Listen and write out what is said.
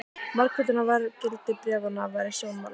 Margföldun á verðgildi bréfanna var í sjónmáli.